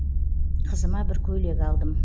қызыма бір көйлек алдым